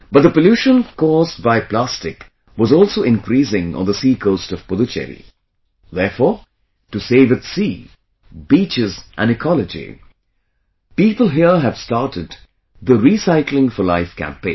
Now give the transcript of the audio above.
But, the pollution caused by plastic was also increasing on the sea coast of Puducherry, therefore, to save its sea, beaches and ecology, people here have started the 'Recycling for Life' campaign